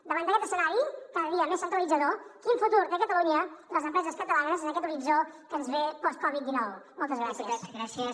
davant d’aquest escenari cada dia més centralitzador quin futur té catalunya les empreses catalanes en aquest horitzó que ens ve post covid dinou moltes gràcies